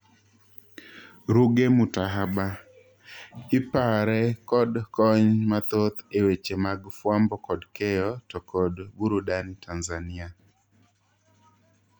Ruge Mutahaba:Ipare kod kony mathoth e weche mag fwambo kod keyo to kod burudani Tanzania